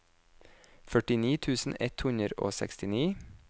førtini tusen ett hundre og sekstini